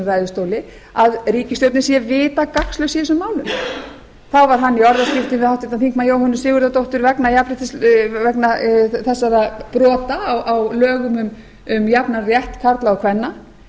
ræðustóli að ríkisstjórnin sé vita gagnslaus í þessum málum þá var hann í orðaskiptum við háttvirts þingmanns jóhönnu sigurðardóttur vegna þessara brot á lögum um jafnan rétt karla og kvenna